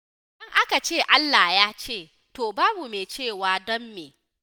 Idan aka ce Allah ya ce, to babu mai cewa don me?